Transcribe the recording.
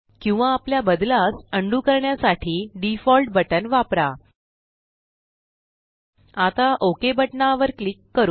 किंवा आपल्या बदलास उंडो करण्यासाठी डिफॉल्ट बटन वापरा आता ओक बटना वर क्लिक करू